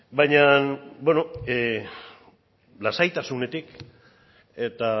baina lasaitasunetik eta